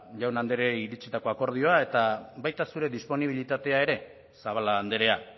jaun andreei iritsitako akordioa baita zure disponibilitatea ere zabala andrea